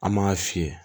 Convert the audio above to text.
An m'a fiyɛ